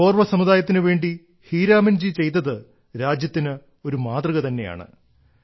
കോർവ സമുദായത്തിനു വേണ്ടി ഹീരാമൻജി ചെയ്തത് രാജ്യത്തിന് ഒരു മാതൃക തന്നെയാണ്